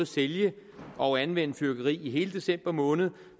sælge og anvende fyrværkeri i hele december måned